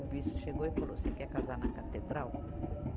O bispo chegou e falou, você quer casar na catedral?